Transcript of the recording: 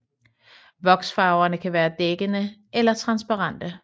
Voksfarverne kan være dækkende eller transparente